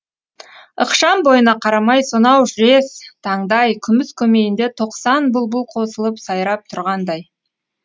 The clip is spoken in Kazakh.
ықшам бойына қарамай сонау жез таңдай күміс көмейінде тоқсан бұлбұл қосылып сайрап тұрғандай